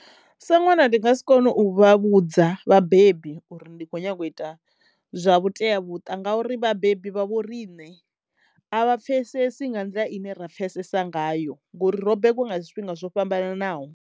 Sa ṅwana ndi nga si kone u vha vhudza vhabebi uri ndi khou nyanga u ita zwa vhuteamuṱa ngauri vhabebi vha vho riṋe a vha pfesesi nga nḓila ine ra pfesesa ngayo ngori ro begwa nga zwifhinga zwo fhambananaho.